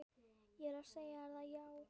Ég er að segja þér það, já.